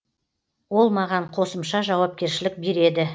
ол маған қосымша жауапкершілік береді